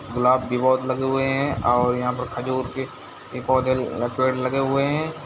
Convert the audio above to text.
गुलाब भी बहुत लगे हुए हैं और यह पर खाजोर के पोधे हुवे है।